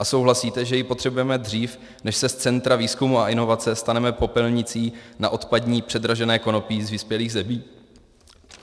A souhlasíte, že ji potřebujeme dřív, než se z centra výzkumu a inovace staneme popelnicí na odpadní předražené konopí z vyspělých zemí?